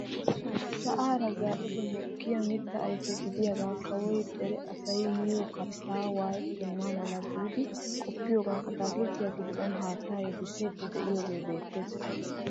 Sa'aara zaa'idi mokkiyaa mittaa ayfe gidiyaagaa kawoy dere asay miyoo kattan wayettenna mala giidi qoppiyoogan ataakilittiyaa giddo haattaa yedissiidi de'iyoogee beettees.